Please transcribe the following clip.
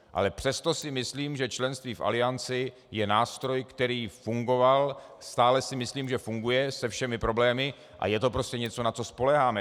Ale přesto si myslím, že členství v Alianci je nástroj, který fungoval, stále si myslím, že funguje se všemi problémy, a je to prostě něco, na co spoléháme.